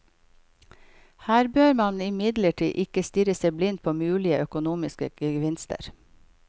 Her bør man imidlertid ikke stirre seg blind på mulige økonomiske gevinster.